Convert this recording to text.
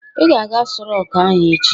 "Ị ga-aga Aso Rock ahụ echi".